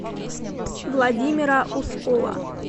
владимира ускова